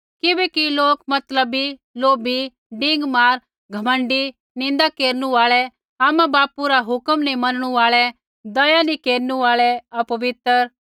किबैकि लोक मतलबी लोभी डींगमार घमण्डी निन्दा केरनु आल़ै आमाबापू रा हुक्म नैंई मनणु आल़ै दया नैंई केरनु आल़ै अपवित्र